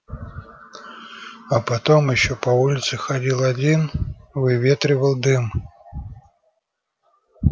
а потом ещё по улице ходил один выветривал дым